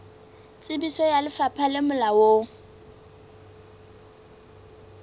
tsebiso ya lefapha le molaong